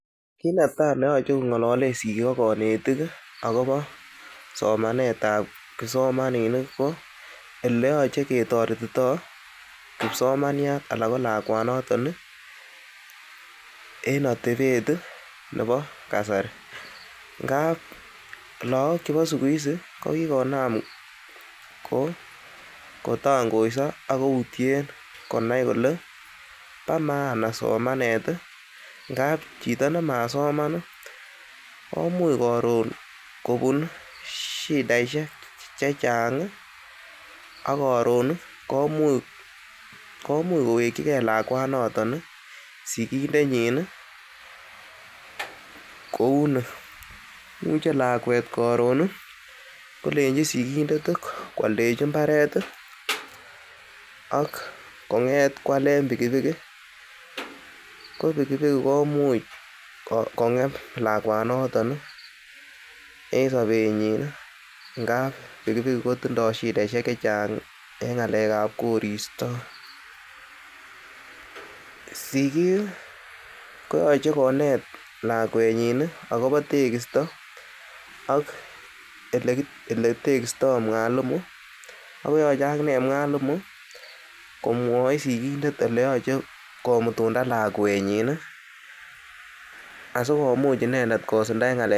Kit netai neyoche kong'alalen sigik ak konetik agobo somanet ab kipsomaninik ko ele yoche kitoretito kipsomaniat anan ko lakwanoton en atebet nebo kasari. Ngab lagok chebo siku hizi ko kigonam kotongoiso ak kutyen konai kole bo maana somanet ngab chito nemasoman komuch koron kobun shidaishek che chnag ak koron komuch kowekige lakwanoto sigindenyin kou ni: imuche lakwet koron kolenchi sigindet koaldechi mbaret ak kong'et koalen pikipikit ko pikipikit komuch kong'em lakwanoto en sobenyin ngab pikipikit kotindo shidaishek che chang en ng'alek ab koristo, sigik ko yoche konet lakwenyini agobo tegisto ak ele tekisto mwalimu ak koyoche ak ine mwalimu komwoi sigindet ele yoche komutunda lakwenyi asikomuch inendet.